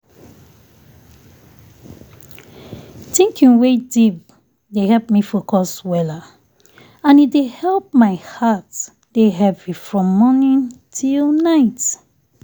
thinking wey deep dey help me focus weller and e dey help my heart dey heavy from morning till night